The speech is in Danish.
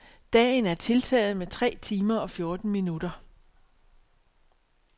Dagen er tiltaget med tre timer og fjorten minutter.